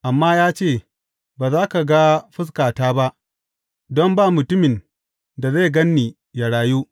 Amma ya ce, ba za ka ga fuskata ba, don ba mutumin da zai gan ni yă rayu.